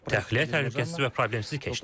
Təxliyə təhlükəsiz və problemsiz keçdi.